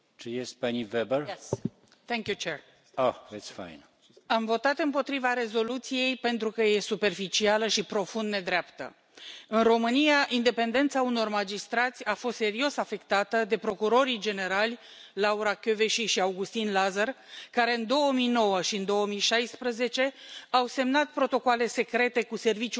Domnule președinte, am votat împotriva rezoluției pentru că e superficială și profund nedreaptă. În România, independența unor magistrați a fost serios afectată de procurorii generali, Laura Kövesi și Augustin Lazăr, care în 2009 și în 2016 au semnat protocoale secrete cu Serviciul de Informații,